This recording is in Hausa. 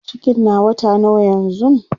cikin na wata nawa yanzun?